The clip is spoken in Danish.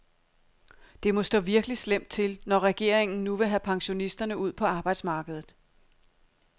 Det må stå virkelig slemt til, når regeringen nu vil have pensionisterne ud på arbejdsmarkedet.